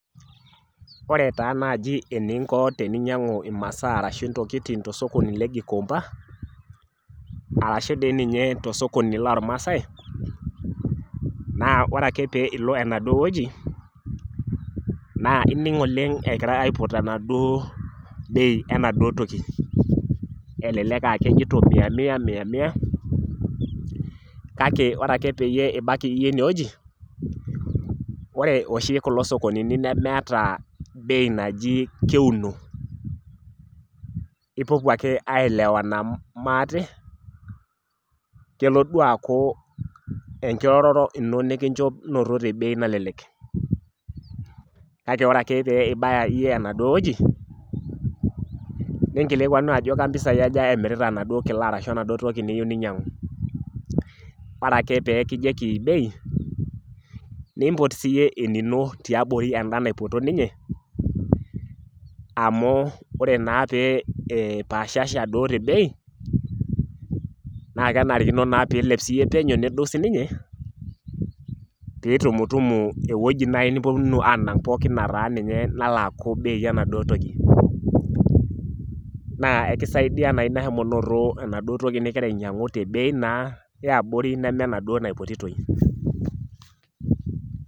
Wore taa naaji eninko teninyiang'u imasaa arashu intokitin tosokoni le Gikoomba, arashu dii ninye tosokoni loomaasai, naa wore ake pee ilo enaduo wueji, naa ining oleng' ekirai aipot enaduo bei enaduo toki, elelek aa kejito mia mia mia mia, kake wore ake pee ibaki iyie inewoji, wore oshi kulo sokonini nemeeta bei naji keuno. Ipopuo ake aielewana maate, kelo duo aaku enkiroroto ino nikincho noto te bei nalelek. Kake wore ake pee ibaya iyie enaduo wueji, ninkilikuanu ajo kempisai aja emirta enaduo kila arashu enaduo toki niyieu ninyiangu. Wore ake pee kijoki bei, niimpot siyie enino tiabori enda naipoto ninye, amu wore naa pee ipaashasha duo te bei, naa kenarikino naa pee ilep siyie peno nedou sininye, piitumutumu ewoji naaji niponunu aanang' pookin nataa ninye nalo aaku bei enaduo toki. Naa eki saidia naa inia shomo noto enaduo toki nikira ainyiangu te bei naa eabori neme enaduo naipotitoi.